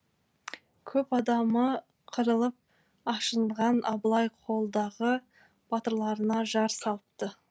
көп адамы қырылып ашынған абылай қолдағы батырларына жар салыпты